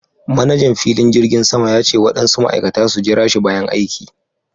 Manajan filin jirgin sama ya ce waɗansu Ma'aikata su jirashi bayan aiki.